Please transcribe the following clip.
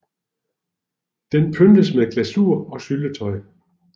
Den pyntes med glasur og syltetøj